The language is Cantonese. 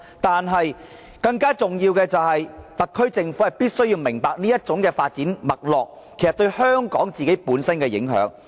但是，更重要的是，特區政府必須明白這種發展脈絡對香港本身的影響。